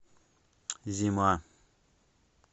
зима